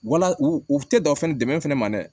Wala u u tɛ dɔn fɛnɛ dɛmɛ fɛnɛ ma dɛ